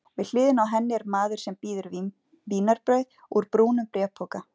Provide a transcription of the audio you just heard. Við hliðina á henni er maður sem býður vínarbrauð úr brúnum bréfpoka.